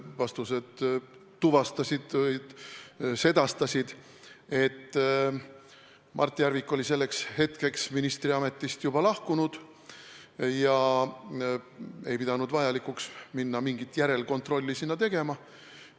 Vastused sedastasid, et Mart Järvik oli selleks hetkeks ministriametist juba lahkunud, ja ma ei pidanud vajalikuks minna sinna mingit järelkontrolli tegema.